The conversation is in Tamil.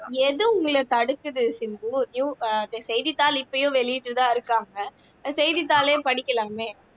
எது உங்களை தடுக்குது சிம்பு அஹ் செய்தித்தாள் இப்பவும் வெளியிட்டுட்டுதான் இருக்காங்க செய்தித்தாளையும் படிக்கலாமே